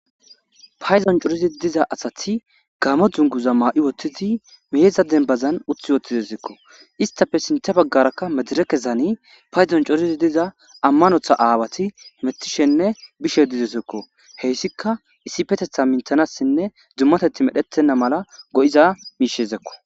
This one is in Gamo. Payddon coridi diza asati gaammo dzunguza maa'i uttidi meedda denbazan uti woththidessikko istafe sinththa baggarakka mederekezani payddon coridi diza ammanththa aawati betishshenne biishshe dizayssakko heyssika issipeteththa minththanassinne dummateththii medhdhettenna mala go'iza miishshezakko